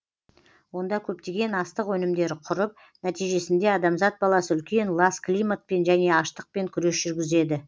онда көптеген астық өнімдері құрып нәтижесінде адамзат баласы үлкен лас климатпен және аштықпен күрес жүргізеді